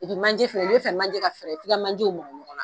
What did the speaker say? manje fɛnɛ n'i bɛ fɛ manje ka fɛrɛ f'i ka manjew mabɔ ɲɔgɔn na